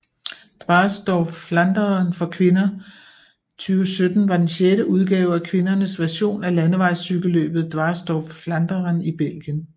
Dwars door Vlaanderen for kvinder 2017 var den sjette udgave af kvindernes version af landevejscykelløbet Dwars door Vlaanderen i Belgien